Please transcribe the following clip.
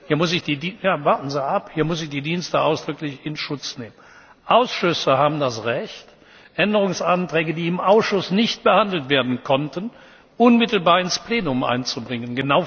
Hier muss ich die Dienste ausdrücklich in Schutz nehmen. Ausschüsse haben das Recht, Änderungsanträge, die im Ausschuss nicht behandelt werden konnten, unmittelbar ins Plenum einzubringen.